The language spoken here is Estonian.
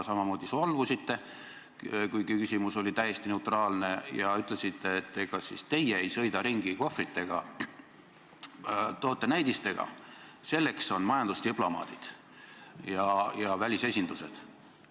Samamoodi te ka solvusite, kuigi küsimus oli täiesti neutraalne, ja ütlesite, et ega siis teie ei sõida kohvritega, tootenäidistega ringi, selleks on majandusdiplomaadid ja välisesindused.